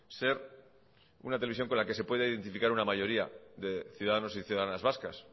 ser una televisión con la que se puede identificar una mayoría de ciudadanos y ciudadanas vascas